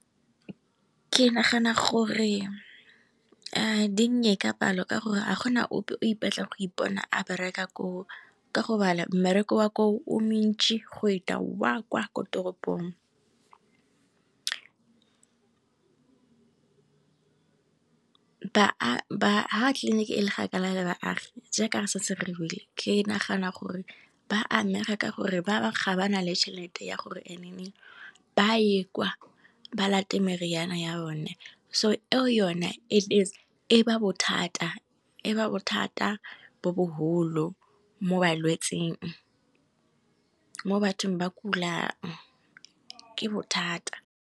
ke nagana gore di nnye ka palo ka gore ga gona ope o ipatlang go ipona a bereka koo, ka go bala mmereko wa koo o mentši go eta wa kwa ko toropong. Ha tleliniki e le kgakala le baagi, jaaka re setse re buile ke nagana gore ba amega ka gore ba bangwe ga ba na le tšhelete ya gore ba ye kwa ba late meriana ya bone, so eo yone e ba bothata bo boholo mo balwetsing mo bathong ba ka kulang ke bothata.